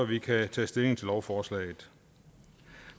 vi kan tage stilling til lovforslaget